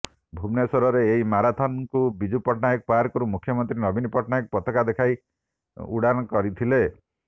ଭୁବନେଶ୍ୱରରେ ଏହି ମାରାଥନ୍ ଙ୍କୁ ବିଜୁ ପଟ୍ଟନାୟକ ପାର୍କରୁ ମୁଖ୍ୟମନ୍ତ୍ରୀ ନବୀନ ପଟ୍ଟନାୟକ ପତାକା ଦେଖାଇ ଉ୍ଘାଟନ କରିଥିଲେ